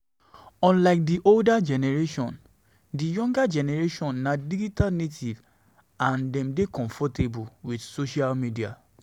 unlike di older generation, di younger generation na digital natives and dem de dey comfortable with social media